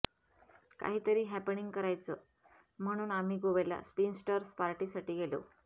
काहीतरी हॅपनिंग करायचं म्हणून आम्ही गोव्याला स्पिंस्टर्स पार्टीसाठी गेलो